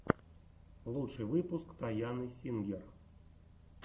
лучший выпуск тайаны сингер